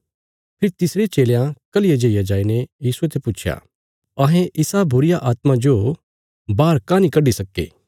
फेरी तिसरे चेलयां कल्हिया जेईया जाईने यीशुये ते पुच्छया अहें इसा बुरीआत्मा जो बाहर काँह नीं कड्डी सक्के